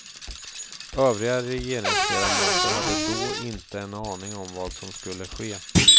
Övriga regeringsledamöter hade då inte en aning om vad som skulle ske.